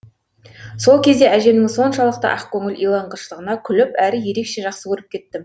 сол кезде әжемнің соншалықты ақкөңіл иланғыштығына күліп әрі ерекше жақсы көріп кеттім